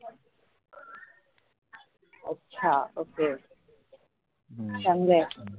अच्छा ok समजे.